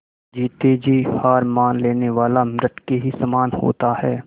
जीते जी हार मान लेने वाला मृत के ही समान होता है